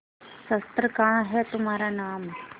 शस्त्र कहाँ है तुम्हारा नाम